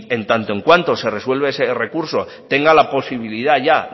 en tanto en cuanto se resuelve ese recurso tenga la posibilidad ya